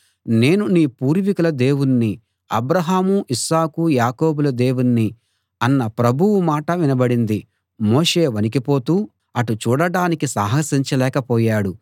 నేను నీ పూర్వీకుల దేవుణ్ణి అబ్రాహాము ఇస్సాకు యాకోబుల దేవుణ్ణి అన్న ప్రభువు మాట వినబడింది మోషే వణికిపోతూ అటు చూడడానికి సాహసించలేక పోయాడు